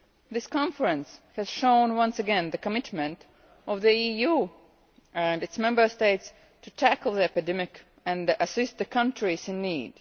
This conference has shown once again the commitment of the EU and its Member States in tackling the epidemic and assisting the countries in need.